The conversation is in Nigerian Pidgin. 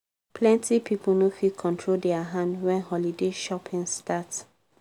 plenty pipo no fit control their hand when holiday shopping start.